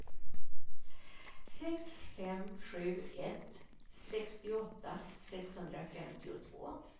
sex fem sju ett sextioåtta sexhundrafemtiotvå